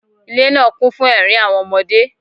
Ile naa kun fun ẹrin awọn ọmọde.